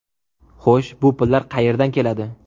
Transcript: Xo‘sh, bu pullar qayerdan keladi?